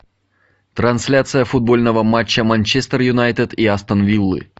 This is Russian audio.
трансляция футбольного матча манчестер юнайтед и астон виллы